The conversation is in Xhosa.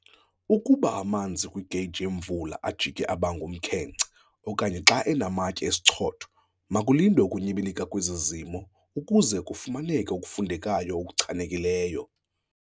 Ukuba amanzi kwigeyiji yemvula ajike aba ngumkhenkce okanye xa enamatye esichotho makulindwe ukunyibilika kwezi zimo ukuze kufumaneke okufundekayo okuchanekileyo.